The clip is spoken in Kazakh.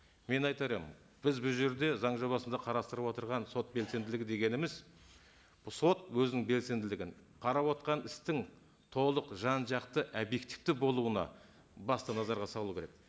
мен айтар едім біз бұл жерде заң жобасында қарастырып отырған сот белсенділігі дегеніміз сот өзінің белсенділігін қарап отырған істің толық жан жақты объективті болуына басты назарға салу керек